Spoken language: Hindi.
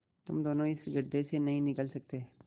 तुम दोनों इस गढ्ढे से नहीं निकल सकते